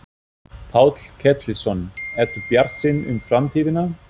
Páll Ketilsson: Ertu bjartsýnn um framtíðina?